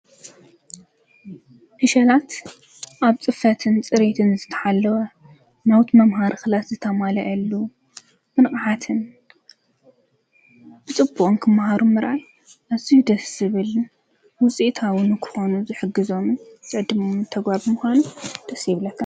ዕሸላት ኣብ ፅፍትን ፅሬትን ዝተሓለወ ናዉት መምህር ክላስ ዝተማለእሉ ብንቃሓትን ፅቡቅ ክማሃሩ ምራእይ ኣዚዩ ደሰ ይብል ዉፅኢታዉን ንክኮኑ ዝሕግዞሞ ዘዲሊ ተግባራ ምኻኑ ደሰ ይብለካ::